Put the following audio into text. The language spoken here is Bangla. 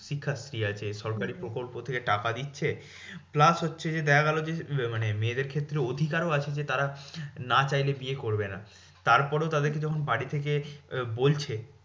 শিক্ষাশ্রী আছে সরকারি প্রকল্প থেকে টাকা দিচ্ছে। plus হচ্ছে যে দেখা গেলো যে মানে মায়েদের ক্ষেত্রে অধিকারও আছে যে তারা না চাইলে বিয়ে করবে না। তারপরেও তাদেরকে যখন বাড়ি থেকে বলছে